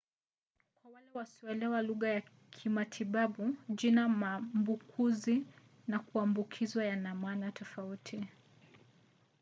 kwa wale wasioelewa lugha ya kimatibabu jina maambukuzi na kuambukizwa yana maana tofauti